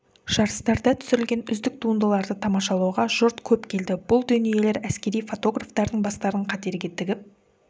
жарыстарда түсірілген үздік туындыларды тамашалауға жұрт көп келді бұл дүниелер әскери фотографтардың бастарын қатерге тігіп